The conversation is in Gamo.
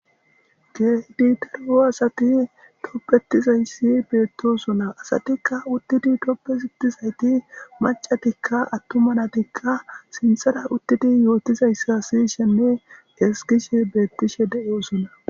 Kehid daro asat tobetizays betosona. Asatika utid tobetizayt mac'atika atuma natika sinthera utid yotizysa siyishenne ezigishe betishe de'osona.